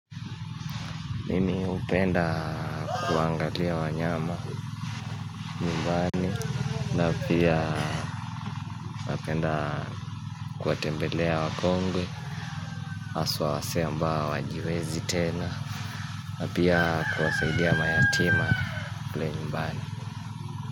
Mimi hupenda kuangalia wanyama nyumbani, na pia napenda kuwatembelea wakongwe, haswa wasee ambao hawajiwezi tena, na pia kuwasaidia mayatima kule nyumbani.